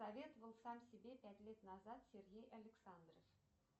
советовал сам себе пять лет назад сергей александров